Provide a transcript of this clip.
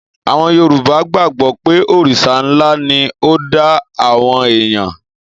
Àwon Yorùbá gbàgbọ́ pé Òrìṣà ńlá ni ó dá àwọn èèyàn.